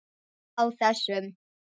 Á þessum